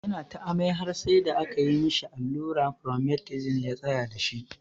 Ya na ta amai har sai da aka yi ma shi alluran Promethazine ya tsayar da shi.